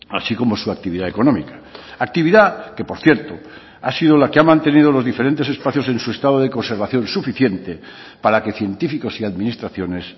así como su actividad económica actividad que por cierto ha sido la que ha mantenido los diferentes espacios en su estado de conservación suficiente para que científicos y administraciones